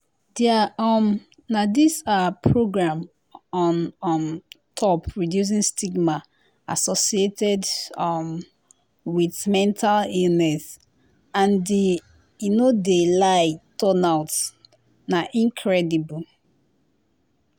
dia um na dis ah program on um top reducing stigma associated um wit mental illness and di i no de lie turnout na incredible.